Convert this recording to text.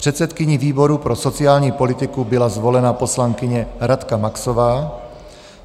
Předsedkyní výboru pro sociální politiku byla zvolena poslankyně Radka Maxová.